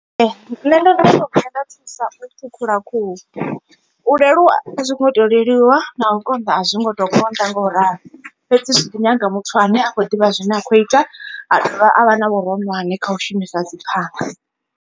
Nṋe ndo no vhuya nda thusa u ṱhukhula khuhu, u leluwa a zwi ngo to leluwa na u konḓa a zwi ngo to konḓa nga u ralo. Fhedzi zwi ḓi nyaga muthu ane a khou ḓivha zwine a khou ita a dovha a vha na vhuronwane kha u shumisa dzi phanga.